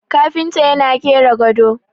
kafinta yana kera gado